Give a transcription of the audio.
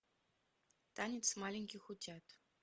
танец маленьких утят